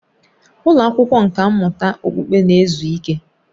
Ụlọ akwụkwọ nkà mmụta okpukpe na-ezu ike